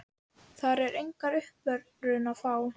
Þar er enga uppörvun að fá.